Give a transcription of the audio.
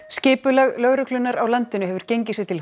skipulag lögreglunnar á landinu hefur gengið sér til